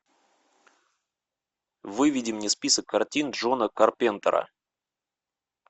выведи мне список картин джона карпентера